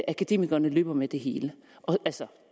akademikerne løber med det hele og